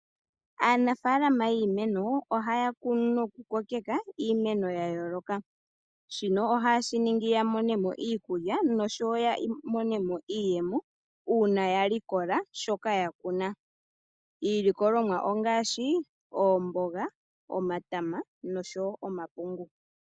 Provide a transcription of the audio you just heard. Aanafaalama yiimeno ohaya kunu nokukokeka iimeno ya yooloka. Shino ohaye shi ningi ya mone mo iikulya noshowo ya mone mo iiyemo uuna ya likola shoka ya kuna. Iilikolomwa ongaashi oomboga, omatama noshowo omapungu.